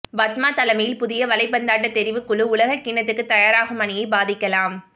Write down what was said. பத்மா தலைமையில் புதிய வலைபந்தாட்ட தெரிவுக் குழு உலக கிண்ணத்துக்கு தயாராகும் அணியைப் பாதிக்கலாம்